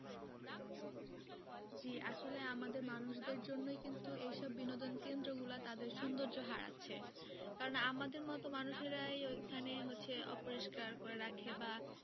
জি আসলে আমাদের মানুষদের জন্যই কিন্তু এই সব বিনোদন কেন্দ্র গুলা তাদের সুন্দর্য হারাচ্ছে কারণ আমাদের মতো মানুষেরাই ওইখানে হচ্ছে অপরিষ্কার করে রাখে বা